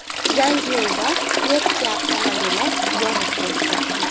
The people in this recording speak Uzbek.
Yangiyo‘lda Nexia avtomobili yonib ketdi.